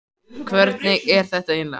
Hvernig er þetta eiginlega?